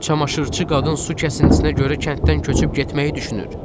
Çamaşıçı qadın su kəsintisinə görə kənddən köçüb getməyi düşünür.